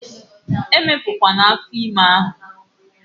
Emepu kwana afo ime gi!